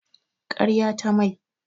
Karya ta mai.